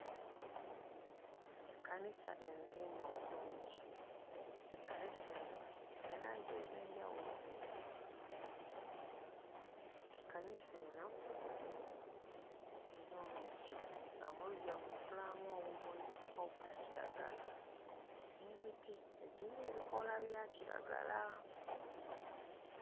Ekkanisa enzimbe obulungi ekkanisa eno eyina langi ez'enjawulo. Ekkanisa eno eyina oluggya nga mu luggya muno tulabamu obumuli obwa kiragala n'emiti egiyina ebikoola bya kiragala.